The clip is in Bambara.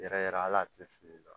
Yɛrɛ ala tɛ fili i la